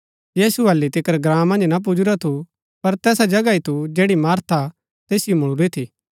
यीशु हालि तिकर ग्राँ मन्ज ना पुजुरा थू पर तैसा जगह ही थू जैड़ी मार्था तैसिओ मुळूरी थी